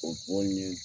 O bon ye